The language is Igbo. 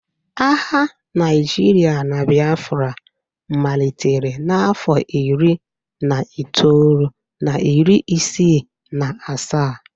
Agha Naijiria na Biafra malitere n'afọ iri na itoolu na iri isii na asaa